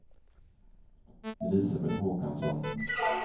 Elisabeth Håkansson